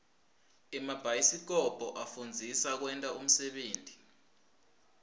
emabhayisikobho afundzisa kwenta unsebenti